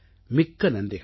மிக்க நன்றிகள்